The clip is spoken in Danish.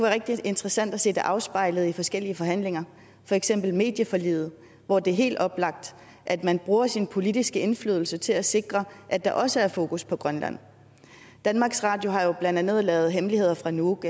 rigtig interessant at se det afspejlet i forskellige forhandlinger for eksempel medieforliget hvor det er helt oplagt at man bruger sin politiske indflydelse til at sikre at der også er fokus på grønland danmarks radio har jo blandt andet lavet hemmeligheder fra nuuk